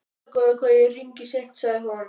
Afsakaðu hvað ég hringi seint, sagði hún.